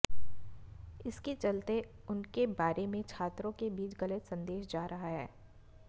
इसके चलते उनके बारे में छात्रों के बीच गलत संदेश जा रहा है